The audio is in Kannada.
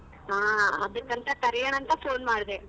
ಹ ಅದಕಂತ ಕರಿಯೋಣ ಅಂತ phone ಮಾಡದೇ.